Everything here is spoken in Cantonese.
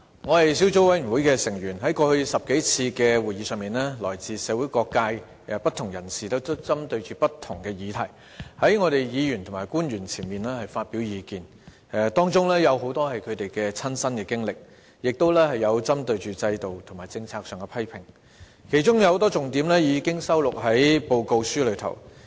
我是小組委員會的成員，在過去10多次會議上，來自社會各界的不同人士針對不同議題，在立法會議員和官員面前發表意見，當中有很多是他們的親身經歷，亦有針對制度和政策的批評，其中有很多重點已經收錄在報告中。